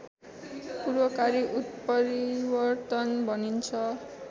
पूर्वकारी उत्परिवर्तन भनिन्छ